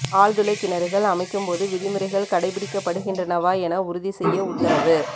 ஆழ்துளை கிணறுகள் அமைக்கும்போது விதிமுறைகள் கடைப்பிடிக்கப்படுகின்றனவா என உறுதி செய்ய உத்தரவு